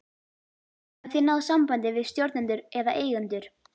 Hafið þið náð sambandi við stjórnendur eða eigendur?